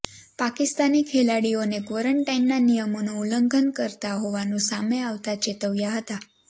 પાકિસ્તાની ખેલાડીઓને ક્વોરન્ટાઇનના નિયમોનુ ઉલ્લંઘન કરતા હોવાનુ સામે આવતા ચેતવ્યા હતા